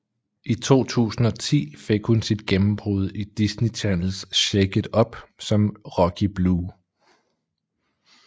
I 2010 fik hun sit gennembrud i Disney Channels Shake It Up som Rocky Blue